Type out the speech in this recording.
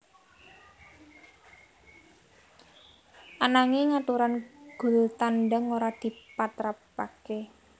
Ananging aturan gol tandang ora dipatrapaké